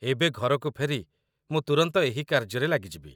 ଏବେ ଘରକୁ ଫେରି ମୁଁ ତୁରନ୍ତ ଏହି କାର୍ଯ୍ୟରେ ଲାଗିଯିବି